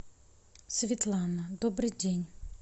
светлана добрый день